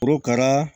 Korokara